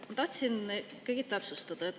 Ma tahtsin ikkagi täpsustada.